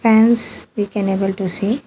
Hence we can able to see --